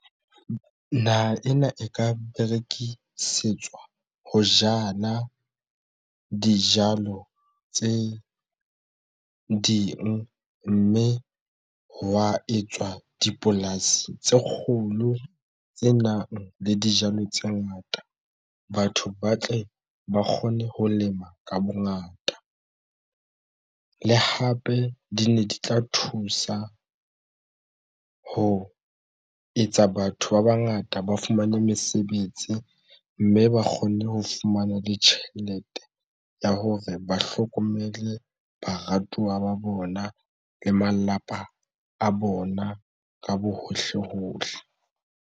Naha ena e ka berekisetswa ho jala dijalo tse ding mme hwa etswa dipolasi tse kgolo tse nang le dijalo tse ngata. Batho ba tle ba kgone ho lema ka bongata le hape di ne di tla thusa ho etsa batho ba bangata ba fumane mesebetsi mme ba kgone ho fumana le tjhelete ya hore ba hlokomele baratuwa ba bona le malapa a bona ka bohohle hohle.